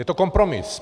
Je to kompromis.